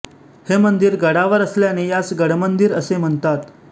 हे मंदिर गडावर असल्याने यास गडमंदिर असे म्हणतात